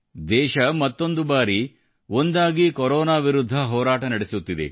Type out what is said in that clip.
ದೇಶ ಮತ್ತೊಂದು ಬಾರಿ ಒಂದಾಗಿ ಕೊರೋನಾ ವಿರುದ್ಧ ಹೋರಾಟ ನಡೆಸುತ್ತಿದೆ